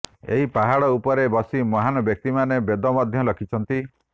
ଏହି ପାହାଡ଼ ଉପରେ ବସି ମହାନ୍ ବ୍ୟକ୍ତିମାନେ ବେଦ ମଧ୍ୟ ଲେଖିଛନ୍ତି